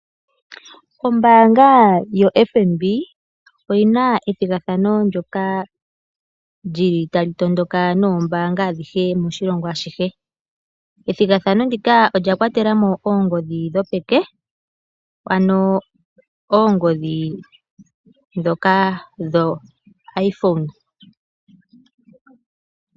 Ombaanga yo FNB oyi na ethigathano ndoka lyi li tali tondoka noombanga adhihe moshilongo ashihe. Ethigathano ndika olya kwatela mo oongodhi dho peke, ano oongodhi dhoka dho IPhone.